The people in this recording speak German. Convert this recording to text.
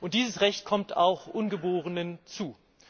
Dieses Recht kommt auch Ungeborenen zu.